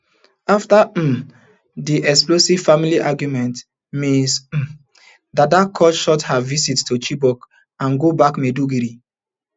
afta um di explosive family argument Ms um dada cut short her visit to chibok and go back maiduguri